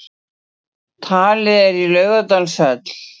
Talið er í Laugardalshöll